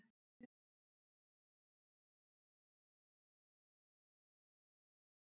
Þeir finnast í nokkrum þjóðgörðum í suður- og austurhluta Afríku og í suður-Asíu.